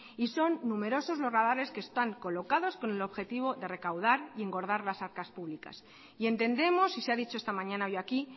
y son numerosos los radares que están colocados con el objetivo de recaudar y engordar las arcas públicas y entendemos y se ha dicho esta mañana hoy aquí